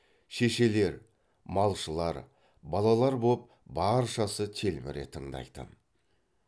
шешелер малшылар балалар боп баршасы телміре тыңдайтын